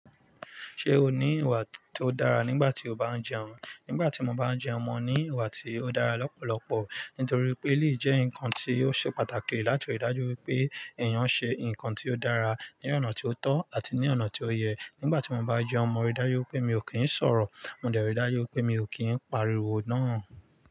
Ṣé o ní ìwà tó dára nígbà tí o bá ń jẹun? Nígbà tí mo bá ń jẹun, mo ní ìwà tí ó dára lọ́pọ̀lọpọ̀. Nítorí pé, eleyi jẹ́ ǹkan tí ó ṣe pàtàkì láti rí dájú wípé èèyàn ṣe ǹkan tí ó dára ní ọ̀nà tí ó tọ́ àti ní ọ̀nà tí ó yẹ. Nígbà tí mo bá jẹun, mo rí dájú wípé mi ò kín ń sọ̀rọ̀, mo dẹ̀ rí dájú wípé mi ò kín ń pariwo náà.